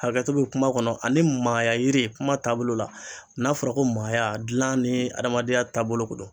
Hakɛto be kuma kɔnɔ ani maaya yiri kuma taabolo la n'a fɔra ko maaya gilan ni adamadenya taabolo ko don